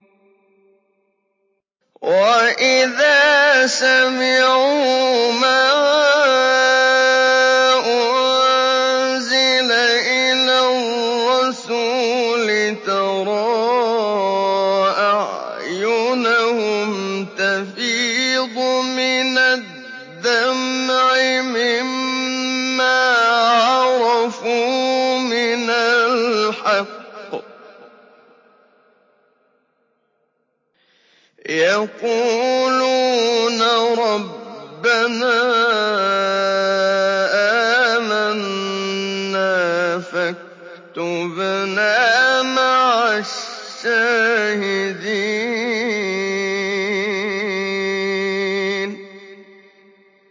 وَإِذَا سَمِعُوا مَا أُنزِلَ إِلَى الرَّسُولِ تَرَىٰ أَعْيُنَهُمْ تَفِيضُ مِنَ الدَّمْعِ مِمَّا عَرَفُوا مِنَ الْحَقِّ ۖ يَقُولُونَ رَبَّنَا آمَنَّا فَاكْتُبْنَا مَعَ الشَّاهِدِينَ